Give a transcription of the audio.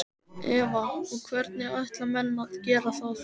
Eva: Og hvernig ætla menn að gera það?